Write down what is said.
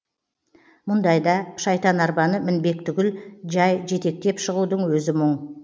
мұндайда шайтанарбаны мінбек түгіл жай жетектеп шығудың өзі мұң